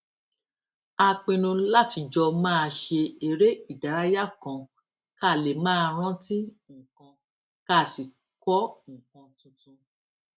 a pinnu láti jọ máa ṣe eré ìdárayá kan ká lè máa rántí nǹkan ká sì kó nǹkan tuntun